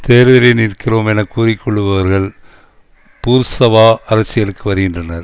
தேர்தலில் நிற்கிறோம் என கூறி கொள்ளுபவர்கள் பூர்ஷ்வா அரசியலுக்கு வருகின்றனர்